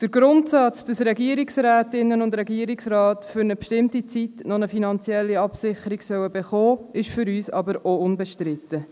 Der Grundsatz, wonach Regierungsrätinnen und Regierungsräte für eine bestimmte Zeit eine finanzielle Absicherung erhalten sollen, ist für uns auch unbestritten.